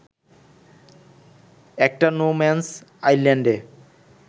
একটা no man's আইল্যান্ডে